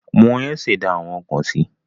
Wọn yóò ṣẹ̀dá àwọn ọkọ̀ si.